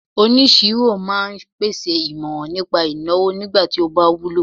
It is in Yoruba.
onisiro ma n pèsè imoran nipa ìnáwó nigba ti o ba wúlò